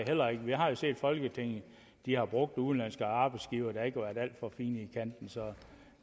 heller ikke vi har jo set at folketinget har brugt udenlandske arbejdsgivere der ikke var alt for fine i kanten så